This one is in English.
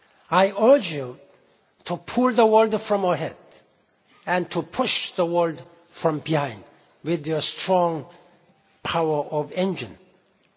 engine. I urge you to pull the world from ahead and to push the world from behind with your strong engine